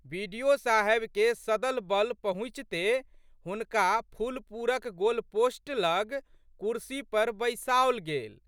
बि.डि.ओ.साहेबके सदल बल पहुँचिते हुनका फुलपुरक गोलपोस्ट लग कुर्सी पर बैसाओल गेल।